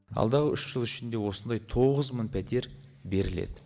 алдағы үш жыл ішінде осындай тоғыз мың пәтер беріледі